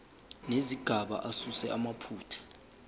nezigaba asuse amaphutha